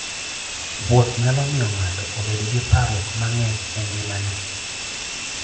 Wuoth nyalo miyo ng'ato obed gi parruok mang'eny e ngimane.